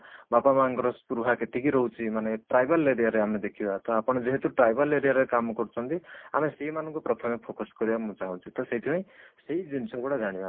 ବାପା ମାଆ ଙ୍କର ସ୍ପୃହା କେତିକି ରହୁଛି ମାନେ tribal area ରେ ଆମେ ଦେଖିବା ତ ଆପଣ ଯେହେତୁ tribal area ରେ କାମ କରୁଛନ୍ତି ଆମେ ସେଇ ମାନଙ୍କୁ ପ୍ରଥମେ focus କରିବା ଆମେ ଚାହୁଁଛେ ତ ସେଥିପାଇଁ ସେଇ ଜିନିଷ ଗୁଡା ଜାଣିବା